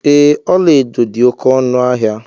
Ee, ọla edo dị oké ọnụ ahịa.